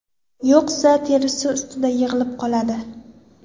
Yo‘qsa, teri ustida yig‘ilib qoladi.